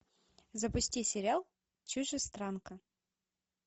запусти сериал чужестранка